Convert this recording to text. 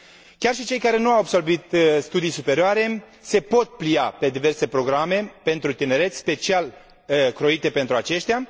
Chiar și cei care nu au absolvit studii superioare se pot plia pe diverse programe pentru tineret, special croite pentru aceștia.